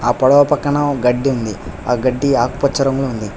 ఆ పడవ పక్కన గాడ్డి ఉంది ఆహ్ గాడ్డి ఆకుపచ్చ లో ఉంది.